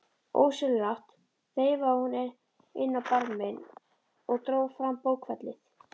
Ósjálfrátt þreifaði hún inn á barminn og dró fram bókfellið.